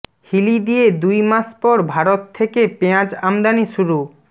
হিলি দিয়ে দুই মাস পর ভারত থেকে পেঁয়াজ আমদানি শুরু